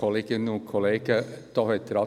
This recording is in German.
Kommissionssprecher der SAK.